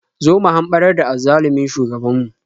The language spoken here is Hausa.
Zo mu hamɓarar da azzalumin shugabanmu.